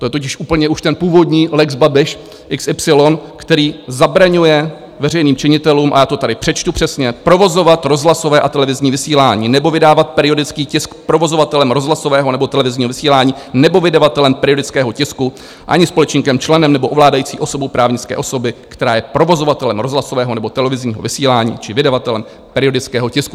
To je totiž úplně už ten původní lex Babiš xy, který zabraňuje veřejným činitelům, a já to tady přečtu přesně: "provozovat rozhlasové a televizní vysílání nebo vydávat periodický tisk provozovatelem rozhlasového nebo televizního vysílání nebo vydavatelem periodického tisku ani společníkem, členem nebo ovládající osobu právnické osoby, která je provozovatelem rozhlasového nebo televizního vysílání či vydavatelem periodického tisku".